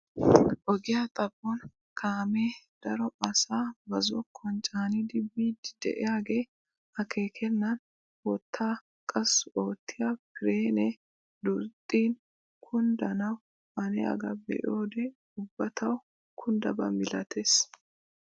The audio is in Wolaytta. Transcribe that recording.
Ogiyaa xaphon kaamee daro asaa ba zokkuwaan caanidi biidi de'iyaagee akeekenan wottaa qassi oottiyaa pirenee duuxxin kunddanawu haniyaagaa be'iyoode ubba tawu kunddaba milatees!